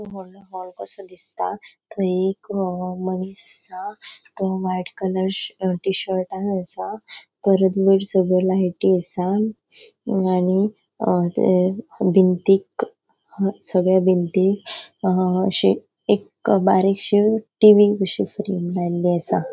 वॉडलों हाल कसो दिसता थंय एक अ मनीस आसा तो व्हाइट कलर श टी शर्ट असा. परत वयर सगळो लायटी असा आणि अ थे बिनतीक सगळ्या बिनतीक अ अशे एक बारिक्शि टीवी कशी फ्रेम लायल्ली असा.